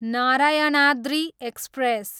Narayanadri express